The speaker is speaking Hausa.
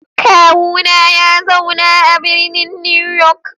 Kawuna ya zauna a birnin New York.